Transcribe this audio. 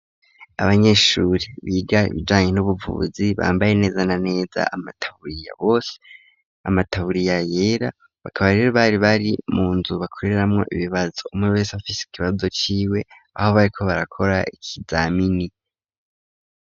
Abanyeshuri biga bijanye n'ubuvuzi bambaye neza na neza amataburiya bose. Amataburiya yera bakabarera bari bari mu nzu bakoreramwo ibibazo umwe bese bafisi ikibabzo ciwe aho bariko barakora ikizamini.